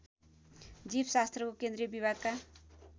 जीवशास्त्रको केन्द्रीय विभागका